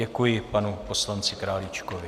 Děkuji panu poslanci Králíčkovi.